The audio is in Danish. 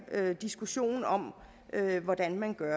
diskussion om hvordan man gør